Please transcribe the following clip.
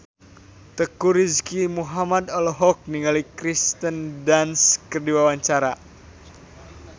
Teuku Rizky Muhammad olohok ningali Kirsten Dunst keur diwawancara